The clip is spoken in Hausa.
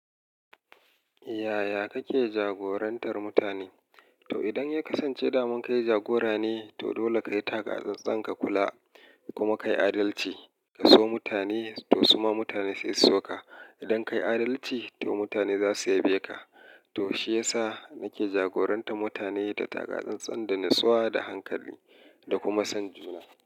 Yaya kake jagorantar mutane? To idan ya kasance daman kai jagora ne, to dole ka yi taka tsantsan ka kula kuma ka yi adalci. Ka so mutane to suma mutane sai su so ka. Idan ka yi adalci to mutane za su yabe ka. To shi ya sa nake jagorantar mutane da taka tsantsan, da nutsuwa, da hankali da kuma son juna.